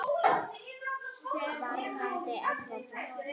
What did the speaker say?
Varðandi Evrópu?